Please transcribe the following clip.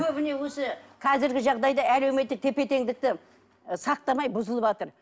көбіне өзі қазіргі жағдайда әлеуметтік тепе теңдікті сақтамай бұзылыватыр